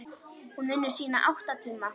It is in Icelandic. Hún vinnur sína átta tíma.